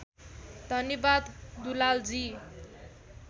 धन्यवाद दुलालजी